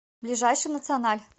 ближайший националь